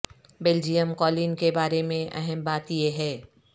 Belgium قالین کے بارے میں اہم بات یہ ہے